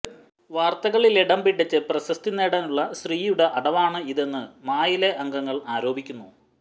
വാര്ത്തകളിലിടം പിടിച്ച് പ്രശസ്തി നേടാനുള്ള ശ്രീയുടെ അടവാണ് ഇതെന്ന് മായിലെ അംഗങ്ങള് ആരോപിക്കുന്നു